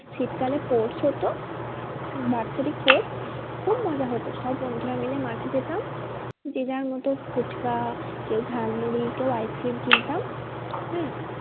শীতকালে sports হতো বাৎসরিক sports খুব মজা হতো সব বন্ধুরা মিলে মাঠে যেতাম যে যার মতো ফুচকা কেউ ঝাল মুড়ি কেউ ice cream কিনতাম হ্যাঁ